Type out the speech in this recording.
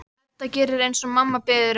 Edda gerir eins og mamma biður um.